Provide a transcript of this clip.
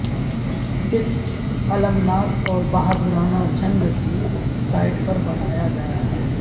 اس المناک اور بہادرانہ جنگ کی سائٹ پر بنایا گیا ہے